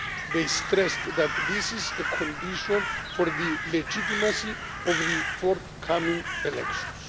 They stressed that this is a condition for the legitimacy of the forthcoming elections.